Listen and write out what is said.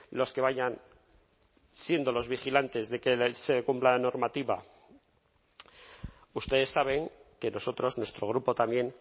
los que vayan siendo los vigilantes de que se cumpla la normativa ustedes saben que nosotros nuestro grupo también